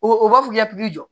O b'a fɔ k'i ka pikiri jɔ